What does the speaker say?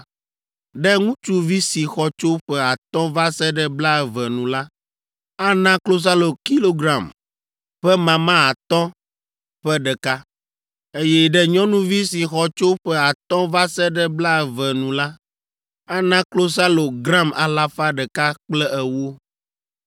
Ɖe ŋutsuvi si xɔ tso ƒe atɔ̃ va se ɖe blaeve nu la, ana klosalo kilogram ƒe mama atɔ̃ ƒe ɖeka, eye ɖe nyɔnuvi si xɔ tso ƒe atɔ̃ va se ɖe blaeve nu la, ana klosalo gram alafa ɖeka kple ewo.